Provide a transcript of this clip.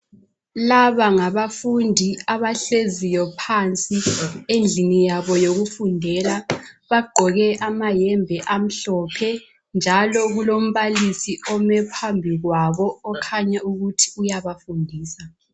Laba ngabafundi abahleziyo phansi endlini yabo yokufundela, bagqoke amayembe amhlophe, njalo kulombalisi ome phambi kwabo okhanya ukuthi uyabafundisa.